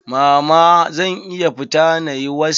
Mama zan iya fita na yi was?